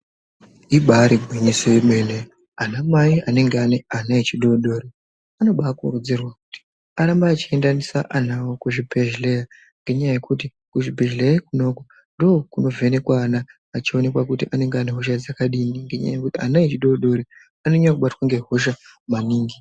Imba irigwinyiso remene, anamai anenge aneana echidodori, anobakurudzirwa kuti arambe achiendesa ana awo kuzvibhedhlera ngenyaya yekuti kuzvibhedhlera ikonako ndokunovhenekwa ana achionekwa kuti anenge anehosha dzakadini ngekuti ana adodori anonyanya kubatwa ngehosha maningi.